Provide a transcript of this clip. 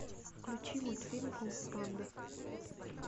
включи мультфильм кунг фу панда